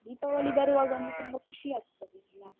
ದೀಪಾವಳಿ ಬರುವಾಗ ಒಂದು ತುಂಬ ಖುಷಿ ಆಗ್ತದೆ ಅಲಾ?